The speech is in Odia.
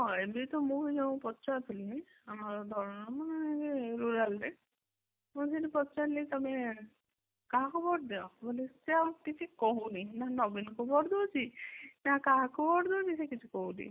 ଏବେ ତ ମୁଁ ଯୋଉ ପଚାରୁଥିଲି ଆମର ମୁଁ ସେଇଠି ପଚାରିଲି ତମେ କାହାକୁ ଭୋଟ ଦବ ବେଲେ ସେ ଆଉ କିଛି କହୁନି ମାନେ ନବୀନ କୁ ଭୋଟ ଦଉଛି ନା କାହାକୁ ଭୋଟ ଦଉଛି ସେ କିଛି କହୁନି